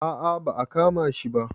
a a ba a kama shi ba